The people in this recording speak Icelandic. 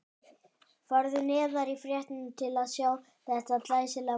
Farðu neðar í fréttina til að sjá þetta glæsilega mark.